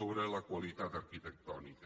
sobre la qualitat arquitectònica